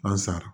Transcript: An sara